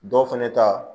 Dɔw fɛnɛ ta